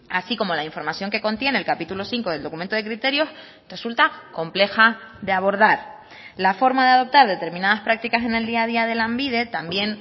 así como la información que contiene el capítulo cinco del documento de criterios resulta compleja de abordar la forma de adoptar determinadas prácticas en el día a día de lanbide también